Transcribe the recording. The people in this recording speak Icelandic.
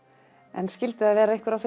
en skyldu það vera einhver af